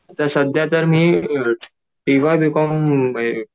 आता सध्या तर मी टीवाय बीकॉम